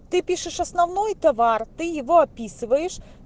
ты пишешь основной товар ты его описываешь